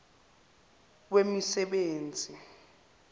wemisebenzi